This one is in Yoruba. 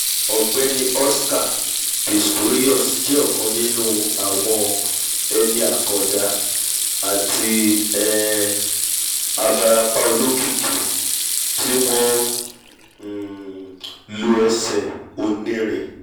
ọ̀gbẹ́ni oscar pistorius jẹ́ ọ̀kan nínú nínú àwọn eni àkàndá àti um abarapa olókìkí tí wọ́n um nlo ẹsẹ̀ oní'rin